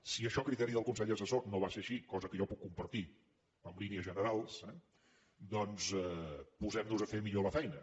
si això a criteri del consell assessor no va ser així cosa que jo puc compartir en línies generals eh doncs posemnos a fer millor la feina